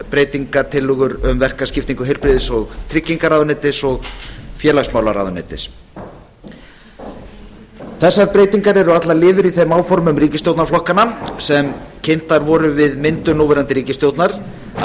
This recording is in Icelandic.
breytingartillögur um verkaskiptingu heilbrigðis og tryggingamálaráðuneytis og félagsmálaráðuneytis þessar breytingar eru allar liður í þeim áformum ríkisstjórnarflokkanna sem kynnt voru við myndun núverandi ríkisstjórnar að